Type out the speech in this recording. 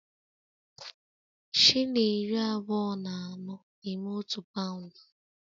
Shilling iri abụọ na anọ na-eme otu paụnd